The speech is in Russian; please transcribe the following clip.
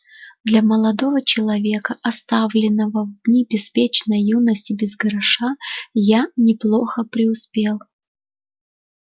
для молодого человека оставленного в дни беспечной юности без гроша я неплохо преуспел